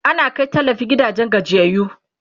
ana Kai tallafi gidajen gajiyayyu